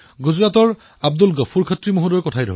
আজি আমি নতুন ভাৰতৰ দিশত অগ্ৰসৰ হৈছো